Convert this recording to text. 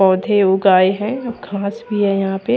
पौधे उगाए हैं खास भी है यहां पे--